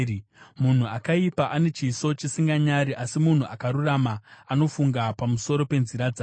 Munhu akaipa ane chiso chisinganyari, asi munhu akarurama anofunga pamusoro penzira dzake.